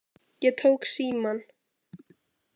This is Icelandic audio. Ég tók símann.